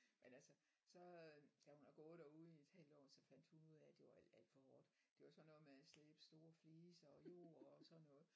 Men altså så da hun har gået derude i et halvt år så fandt hun af at det var alt alt for hårdt det var sådan noget med at slæbe store fliser og jord og sådan noget